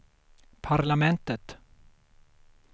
parlamentet